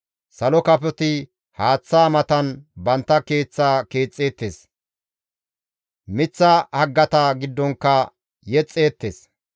Salo kafoti haaththaa matan bantta keeththa keexxeettes; miththa haggata giddonkka yexxeettes.